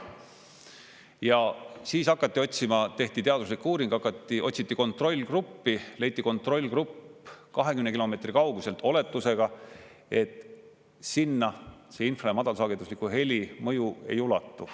Ja siis hakati otsima, tehti teaduslik uuring, otsiti kontrollgruppi, leiti kontrollgrupp 20 kilomeetri kauguselt, oletusega, et sinna see infra- ja madalsagedusliku heli mõju ei ulatu.